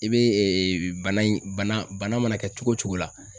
I be bana in bana bana mana kɛ cogo o cogo la